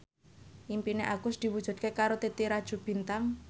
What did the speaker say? impine Agus diwujudke karo Titi Rajo Bintang